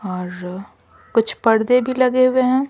और कुछ पर्दे भी लगे हुए हैं।